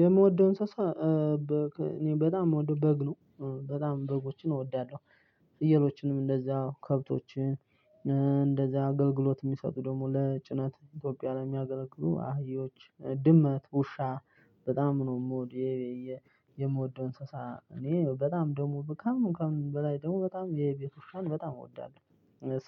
የምወደው እንስሳ እኔ በጣም የምወደው በግ ነው። በጣም በጎችን እወዳለሁ። ፍየሎችንም እንደዛ ከብቶችን እንደዛ አገልግሎት የሚሰጡ ደግሞ ለጭናት ኢትዮጵያ ነው የሚያገለግሉ አህዮች ድመት ውሻ በጣም ነው የምወድ። የምወደው እንስሳ እኔ በጣም ደግሞ በቃ በላይ ደግሞ በጣም የቤት ውሻን በጣም እወዳለሁ።